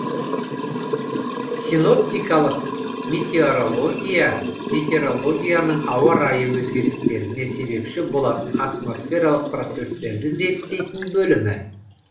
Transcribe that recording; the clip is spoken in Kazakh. синоптикалық метеорология метеорологияның ауа райы өзгерістеріне себепші болатын атмосфералық процестерді зерттейтін бөлімі